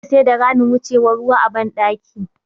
Dole sai da ramin wucewan ruwa a ban ɗaki